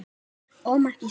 Ómar Gísli.